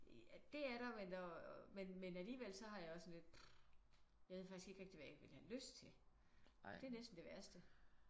Det er der men og men men alligevel så har jeg det også sådan lidt uf jeg ved faktisk ikke rigtig hvad jeg ville have lyst til. Det er næsten det værste